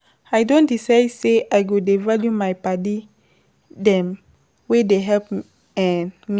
I don decide sey I go dey value my paddy dem wey dey help me